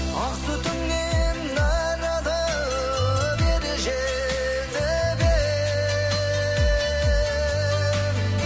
ақ сүтіңнен нәр алып ер жетіп ем